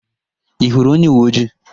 Ị hụrụ onyeuweojii?